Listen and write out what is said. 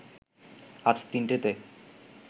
আজ তিনটেতে